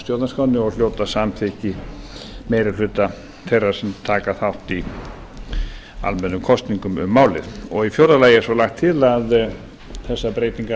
stjórnarskránni og hljóta samþykki meiri hluta þeirra sem taka þátt í almennum kosningum um málið og í fjórða lagi er svo lagt til að þessar breytingar